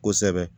Kosɛbɛ